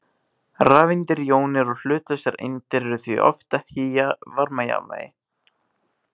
Rafeindir, jónir og hlutlausar eindir eru því oft ekki í varmajafnvægi.